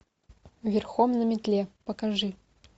верхом на метле покажи